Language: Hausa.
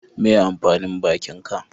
Meye amfanin bakin ka?